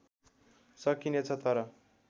सकिने छ तर